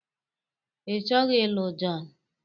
Ịchọghị ịlụ John?